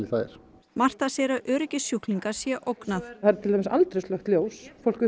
það er Marta segir að öryggi sjúklinga sé ógnað það eru til dæmis aldrei slökkt ljós fólk